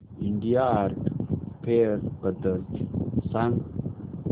India art fair बद्दल सांग